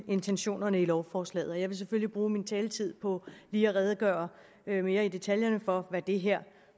intentionerne i lovforslaget jeg vil selvfølgelig bruge min taletid på lige at redegøre mere detaljeret for hvad det her